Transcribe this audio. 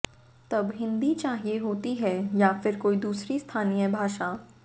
तब हिंदी चाहिए होती है या फिर कोई दूसरी स्थानीय भाषा